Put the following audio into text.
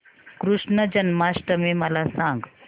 कृष्ण जन्माष्टमी मला सांग